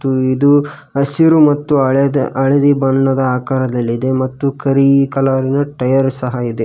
ಇದು ಹಸಿರು ಮತ್ತು ಹಳದ್ ಹಳದಿ ಬಣ್ಣದ ಆಕಾರದಲ್ಲಿದೆ ಮತ್ತು ಕರಿ ಕಲರ್ ನ ಟೈಯರ್ ಸಹ ಇದೆ.